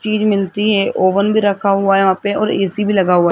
चीज मिलती है ओवन भी रखा हुआ है यहां पे और ए_सी भी लगा हुआ--